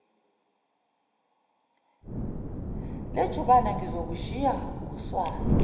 lejubane ngizokushaya ngoswazi